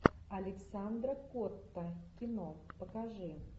александра котта кино покажи